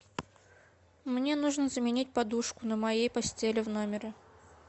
мне нужно заменить подушку на моей постели в номере